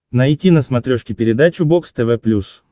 найти на смотрешке передачу бокс тв плюс